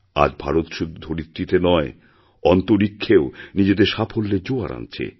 আজ ভারত শুধু ধরিত্রীতে নয় অন্তরীক্ষেও নিজেদের সাফল্যের জোয়ার আনছে